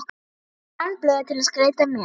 græn blöð til að skreyta með